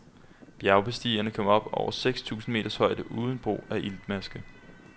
Bjergbestigeren kom op i over seks tusind meters højde uden brug af iltmaske.